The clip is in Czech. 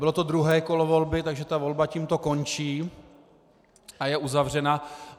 Bylo to druhé kolo volby, takže ta volba tímto končí a je uzavřena.